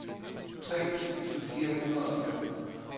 tre tusind fire hundrede og fem